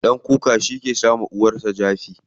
Ɗan kuka shike jawa uwarsa jifa.